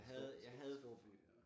Stor stor storby